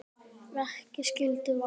Verki skyldu valda